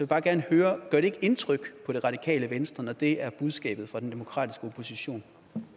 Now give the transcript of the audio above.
bare gerne høre gør det ikke indtryk på det radikale venstre når det er budskabet fra den demokratiske opposition